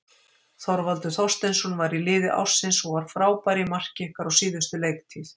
Þorvaldur Þorsteinsson var í liði ársins og var frábær í marki ykkar á síðustu leiktíð.